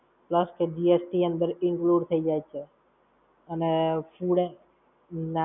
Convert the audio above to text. plus તો GST અંદર include થઇ જાય છે. અને food